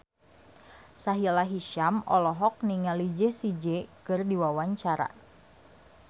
Sahila Hisyam olohok ningali Jessie J keur diwawancara